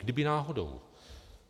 Kdyby náhodou.